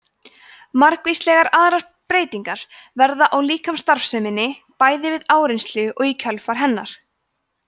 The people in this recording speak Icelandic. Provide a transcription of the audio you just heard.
margvíslegar aðrar breytingar verða á líkamsstarfseminni bæði við áreynslu og í kjölfar hennar